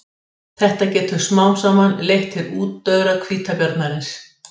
Þetta getur smám saman leitt til útdauða hvítabjarnarins.